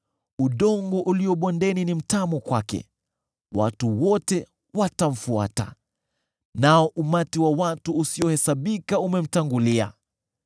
Udongo ulio bondeni ni mtamu kwake; watu wote watamfuata, nao umati wa watu usiohesabika umemtangulia.